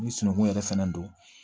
Ni sunungun yɛrɛ fɛnɛ don